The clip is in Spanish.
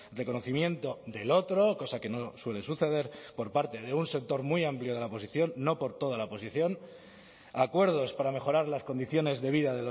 reconocimiento del otro cosa que no suele suceder por parte de un sector muy amplio de la oposición no por toda la oposición acuerdos para mejorar las condiciones de vida